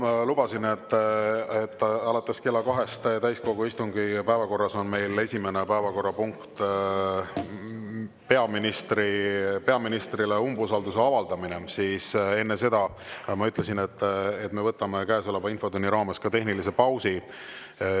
Kell 2 täiskogu istungi päevakorras on meil esimene päevakorrapunkt peaministrile umbusalduse avaldamine, ja ma lubasin, et me võtame enne seda, käesoleva infotunni raames tehnilise pausi.